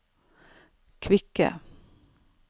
kvikke